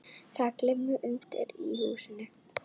Það glymur undir í húsinu.